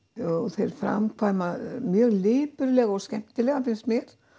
þeir framkvæma mjög lipurlega og skemmtilega finnst mér